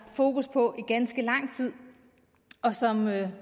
fokus på i ganske lang tid og som jeg